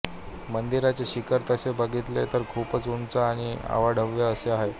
मंदिराचे शिखर तसे बघितले तर खूप उंच आणि अवाढव्य असे आहे